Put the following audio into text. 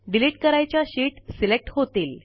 delete करायच्या sheet select होतील